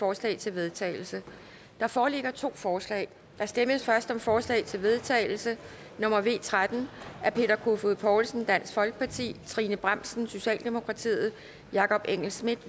forslag til vedtagelse der foreligger to forslag der stemmes først om forslag til vedtagelse nummer v tretten af peter kofod poulsen trine bramsen jakob engel schmidt